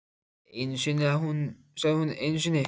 Einu sinni sagði hún, einu sinni.